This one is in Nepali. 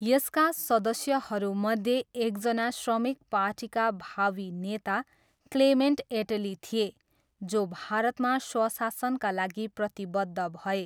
यसका सदस्यहरूमध्ये एकजना श्रमिक पार्टीका भावी नेता क्लेमेन्ट एट्ली थिए, जो भारतमा स्वशासनका लागि प्रतिबद्ध भए।